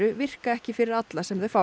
virka ekki fyrir alla sem þau fá